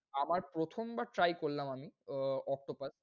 আমার প্রথমবার try করলাম আমি ও~ octopus